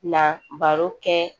Na baro kɛ